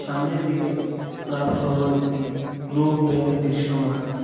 সামনের দিকে ক্লাবসহ একটি গ্লোব ব্যাঙ্ক দৃশ্যমান।